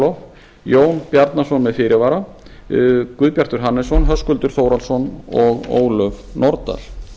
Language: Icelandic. nikolov jón bjarnason með fyrirvara guðbjartur hannesson höskuldur þórhallsson og ólöf nordal